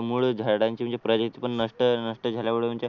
मुळ झाडांची म्हणजे प्रजाती पण नष्ट नसते झाले